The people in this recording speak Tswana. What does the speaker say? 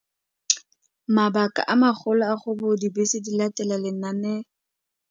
Mabaka a magolo a go bo dibese di latela lenaane.